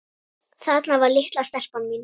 Þarna var litla stelpan mín.